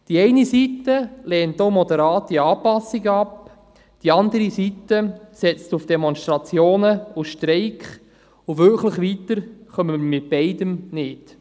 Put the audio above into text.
Die eine Seite lehnt auch moderate Anpassungen ab, die andere Seite setzt auf Demonstrationen und Streiks, doch wirklich weiter kommen wir mit beidem nicht.